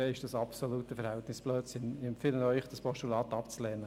Wir empfehlen Ihnen, das Postulat abzulehnen.